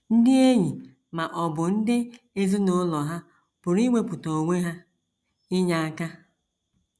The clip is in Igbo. Ndị enyi ma ọ bụ ndị ezinụlọ hà pụrụ iwepụta onwe ha inye aka?